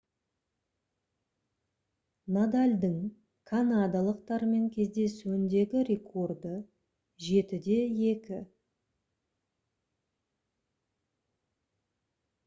надальдың канадалықтармен кездесуіндегі рекорды - 7-2